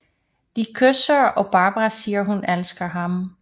De kysser og Barbara siger hun elsker ham